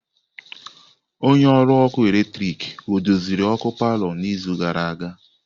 Onye ọrụ ọkụ eletrik ọ doziri ọkụ palọ n'izu gara aga?